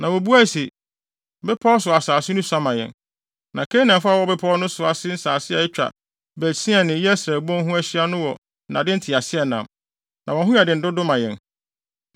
Na wobuae se, “Bepɔw so asase no sua ma yɛn, na Kanaanfo a wɔwɔ bepɔw no ase nsase a atwa Bet-Sean ne Yesreel bon ho ahyia no wɔ nnade nteaseɛnam, na wɔn ho yɛ den dodo ma yɛn.”